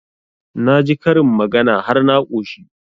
Na ji karin magana har na ƙoshi